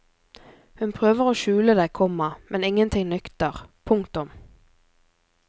Hun prøver å skjule det, komma men ingenting nytter. punktum